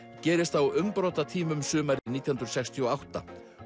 gerist á umbrotatímum sumarið nítján hundruð sextíu og átta